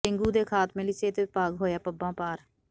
dengue ਦੇ ਖਾਤਮੇ ਲਈ ਸਿਹਤ ਵਿਭਾਗ ਹੋਇਆ ਪੱਬਾਂ ਭਾਰ